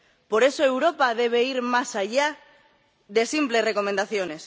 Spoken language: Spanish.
Por eso, Europa debe ir más allá de simples recomendaciones.